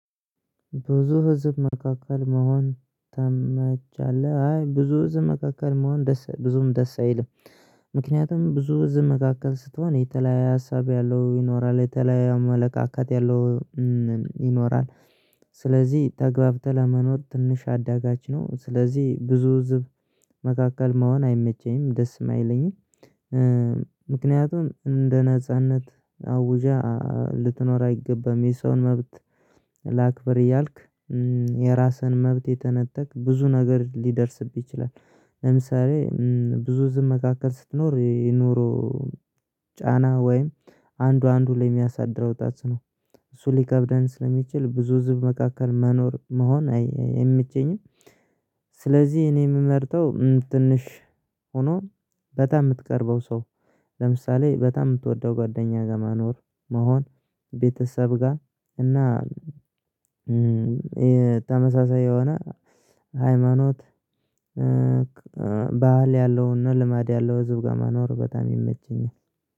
ብዙ ህዝብ መካከል መሆን ተመቻለ አይ ብዙ ህዝብ መካከል መሆን ብዙም ደስ አይልም። ምክንያቱም ብዙ ህዝብ መካከል ስትሆን የተለያየ ሀሳብ ያለው ይኖራል የተለያየ አመለካከት ያለው ይኖራል። ስለዚህ ተገብተህ ለመኖር ትንሽ አዳጋች ነው። ስለዚህ ብዙ ህዝብ መካከል መሆን አይመቸኝም ደስም አይለኝም። ምክንያቱም እንደ ነጻነት አውጀ ልትኖር አይገባም የሰውን መብት ላክብር እያልክ የራስህን መብት እየተነጠቅክ ብዙ ነገር ሊደርስብህ ይችላል። ለምሳሌ ብዙ ህዝም መካከል ስትኖር የኑሮ ጫና ወይም አንዱ አንዱ ላይ የሚያሳድረው ታጽኖ እሱ ሊከብደን ስለሚችል ብዙ ህዝብ መካከል መኖር መሆን አይመቸኝም። ስለዚህ እኔ የምመርጠው ትንሽ ሆኖ በጣም የምትቀርበው ሰው ለምሳሌ በጣም የምትወደው ጓደኛ ጋር መኖር መሆን ቤተሰብ ጋር እና ተመሳሳይ የሆነ ሃይማኖት ባህል ያለውና ልማድ ያለው ህዝብ ጋር መኖር በጣም ይመቸኛል